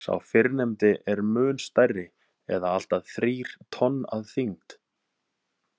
Sá fyrrnefndi er mun stærri eða allt að þrír tonn að þyngd.